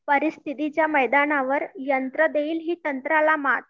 परिस्थितीच्या मैदानावर यंत्र देईल ही तंत्राला मात